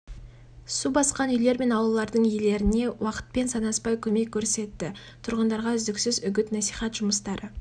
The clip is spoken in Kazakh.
каналдарды тазартып еріген қар суын жіберу үшін арықтарды қазды аулаларға топырақ төседі азаматтық қорғау қызметкерлері